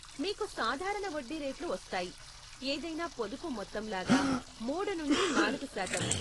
మీకు సాధారణ వడ్డీ రేట్లు వస్తాయి, ఏదైనా పొదుపు మొత్తంలాగా మూడు నుండి నాలుగు శాతం.